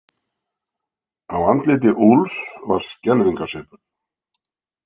Á andliti Úlfs var skelfingarsvipur.